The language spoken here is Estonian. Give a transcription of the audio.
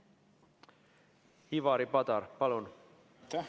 Ivari Padar, palun!